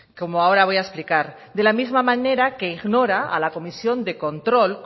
como ahora voy a explicar de la misma manera que ignora a la comisión de control